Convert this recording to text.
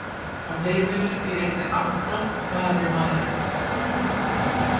Á heimilinu býr einnig Anton, faðir Maríu.